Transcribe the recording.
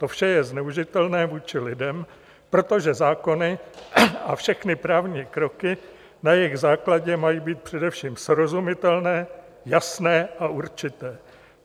To vše je zneužitelné vůči lidem, protože zákony a všechny právní kroky na jejich základě mají být především srozumitelné, jasné a určité.